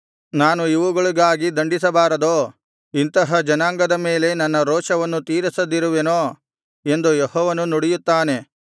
ನಾನು ಇವುಗಳಿಗಾಗಿ ದಂಡಿಸಬಾರದೋ ಇಂತಹ ಜನಾಂಗದ ಮೇಲೆ ನನ್ನ ರೋಷವನ್ನು ತೀರಿಸದಿರುವೆನೋ ಎಂದು ಯೆಹೋವನು ನುಡಿಯುತ್ತಾನೆ